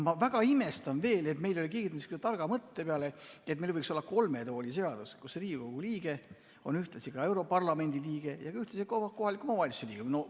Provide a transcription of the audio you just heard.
Ma väga imestan, et keegi ei ole tulnud targa mõtte peale, et meil võiks olla kolme tooli seadus, et Riigikogu liige oleks ühtlasi europarlamendi liige ja ka kohaliku omavalitsuse liige.